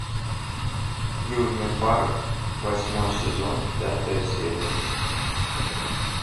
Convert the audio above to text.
южный парк восьмой сезон пятая серия